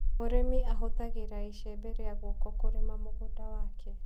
Mũrĩmi ahũthagĩra icembe rĩa guoko kũrĩma mũgũnda wake.